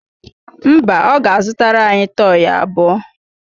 Mba, ọ ga-azụtara ya tọyị abụọ